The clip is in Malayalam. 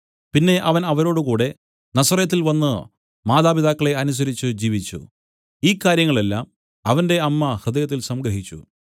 പിന്നെ അവൻ അവരോടുകൂടെ നസറെത്തിൽ വന്നു മാതാപിതാക്കളെ അനുസരിച്ചു ജീവിച്ചു ഈ കാര്യങ്ങൾ എല്ലാം അവന്റെ അമ്മ ഹൃദയത്തിൽ സംഗ്രഹിച്ചു